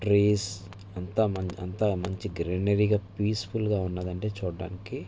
Trees అంతా మనకూ అంతా మంచి గ్రీనరీ గా ప్యాసిఫుల్ గా ఉన్నది అండి చూడడానికీ.